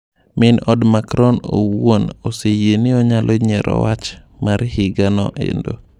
Min OD Macron owuon oseyie ni onyalo nyiero wach mar higa no endo.